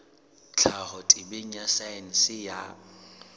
tlhaho temeng ya saense ya